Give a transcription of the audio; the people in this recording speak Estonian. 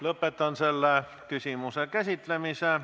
Lõpetan selle küsimuse käsitlemise.